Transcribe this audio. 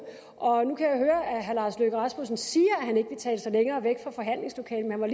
og nu kan jeg høre at herre lars løkke rasmussen siger at han ikke vil tale sig længere væk fra forhandlingslokalet men